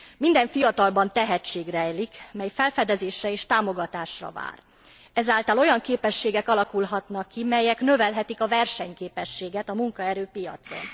Minden fiatalban tehetség rejlik, mely felfedezésre és támogatásra vár, ezáltal olyan képességek alakulhatnak ki, melyek növelhetik a versenyképességet a munkaerőpiacon.